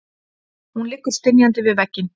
Hún liggur stynjandi við vegginn.